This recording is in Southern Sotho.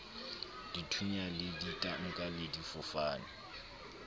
dithunya le ditanka le difofane